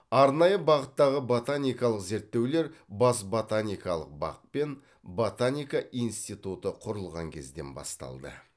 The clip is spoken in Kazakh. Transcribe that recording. арнайы бағыттағы ботаникалық зерттеулер бас ботаникалық бақ пен ботаника институты құрылған кезден басталды